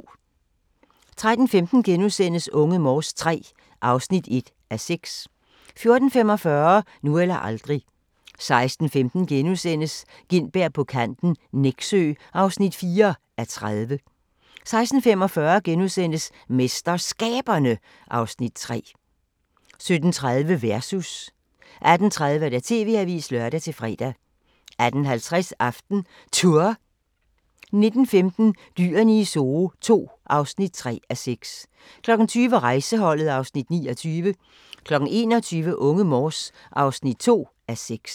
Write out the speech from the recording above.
13:15: Unge Morse III (1:6)* 14:45: Nu eller aldrig 16:15: Gintberg på kanten - Nexø (4:30)* 16:45: MesterSkaberne (Afs. 3)* 17:30: Versus 18:30: TV-avisen (lør-fre) 18:50: AftenTour 19:15: Dyrene i Zoo II (3:6) 20:00: Rejseholdet (Afs. 29) 21:00: Unge Morse (2:6)